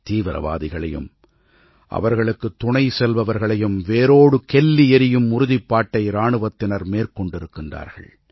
தீவிரவாதிகளையும் அவர்களுக்குத் துணை செல்பவர்களையும் வேரோடு கெல்லி எறியும் உறுதிப்பாட்டை இராணுவத்தினர் மேற்கொண்டிருக்கிறார்கள்